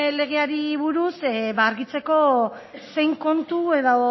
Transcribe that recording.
legeari buruz argitzeko zein kontu edo